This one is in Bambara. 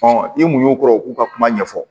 i mu y'o kɔrɔ u k'u ka kuma ɲɛfɔ